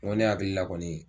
Dɔ ne hakili la kɔnii